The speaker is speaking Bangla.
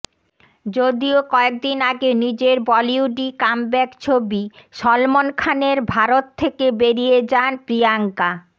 যদিও কয়েকদিন আগে নিজের বলিউডি কামব্যাক ছবি সলমন খানের ভারত থেকে বেরিয়ে যান প্রিয়ঙ্কা